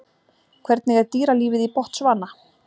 Hvernig er dýralífið í Botsvana?